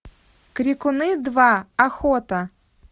крикуны два охота